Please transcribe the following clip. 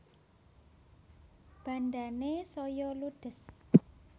Bandhane saya ludhes